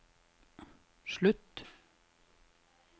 slutt